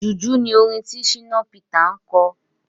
Jùjú ni orin tí Shina Peter ń kọ.